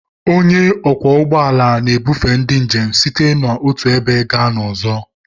Onye ọkwọ ụgbọ ala na-ebufe ndị njem site n'otu ebe gaa n'ọzọ.